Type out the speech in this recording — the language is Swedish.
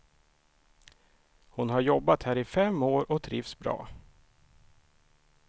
Hon har jobbat här i fem år och trivs bra.